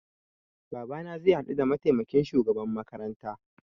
Babana zai haɗu da mataimakin shugaban makaranta